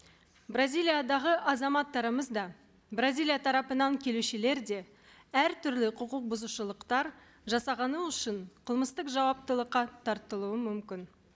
бразилиядағы азаматтарымыз да бразилия тарапынан келушілер де әртүрлі құқық бұзушылықтар жасағаны үшін қылмыстық жауаптылыққа тартылуы мүмкін